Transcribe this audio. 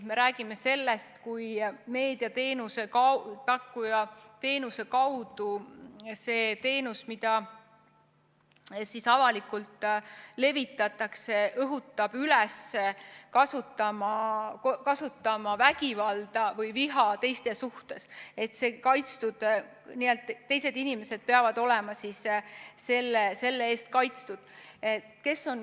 Me räägime sellest, kui meediateenuse pakkuja teenuse kaudu see teenus, mida avalikult levitatakse, õhutab üles kasutama vägivalda või viha teiste suhtes, nii et teised inimesed peavad olema selle eest kaitstud.